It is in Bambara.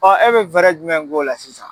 Ɔ e be fɛrɛ jumɛn k'o la sisan